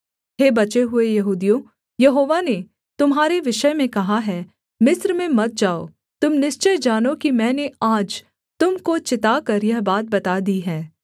हे बचे हुए यहूदियों यहोवा ने तुम्हारे विषय में कहा है मिस्र में मत जाओ तुम निश्चय जानो कि मैंने आज तुम को चिताकर यह बात बता दी है